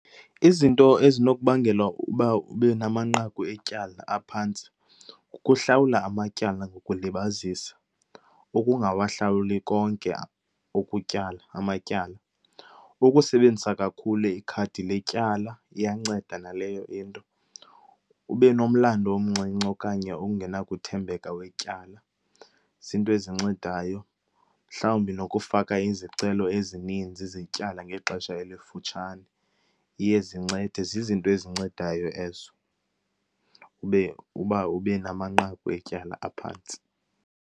Izinto ezinokubangela uba ube namanqaku etyala aphantsi kukuhlawula amatyala ngokulibazisa, ukungawahlawuli konke ukutyala amatyala. Ukusebenzisa kakhulu ikhadi letyala iyanceda naleyo into, ube nomlando omncinci okanye ungenakuthembeka wetyala, ziinto ezincedayo. Mhlawumbi nokufaka izicelo ezininzi zetyala ngexesha elifutshane iye zincede. Zizinto ezincedayo ezo ube uba ube namanqaku etyala aphantsi.